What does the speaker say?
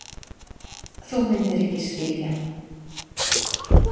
Þú myndir ekki skilja